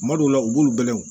Kuma dɔw la u b'olu bɛlɛn